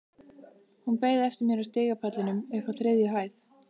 Hún beið eftir mér á stigapallinum uppi á þriðju hæð.